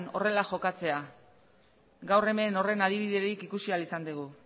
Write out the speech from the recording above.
horrela jokatzea gaur hemen horren adibiderik ikusi ahal izan dugu